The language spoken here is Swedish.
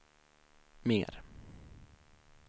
mer